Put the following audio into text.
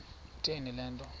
kutheni le nto